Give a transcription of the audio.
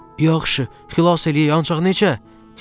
Yaxşı, xilas eləyək, ancaq necə?